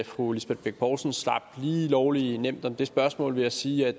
fru lisbeth bech poulsen slap lige lovlig nemt om det spørgsmål ved at sige at